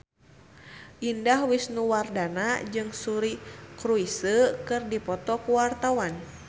Indah Wisnuwardana jeung Suri Cruise keur dipoto ku wartawan